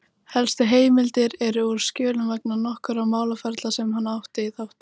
Helstu heimildir eru úr skjölum vegna nokkurra málaferla sem hann átti þátt í.